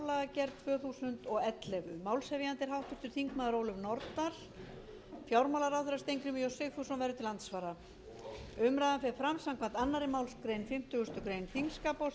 er háttvirtir þingmenn ólöf nordal fjármálaráðherra steingrímur j sigfússon er til andsvara umræðan fer fram samkvæmt annarri málsgrein fimmtugustu grein þingskapa